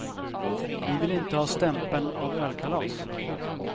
Vi vill inte ha stämpeln av ölkalas.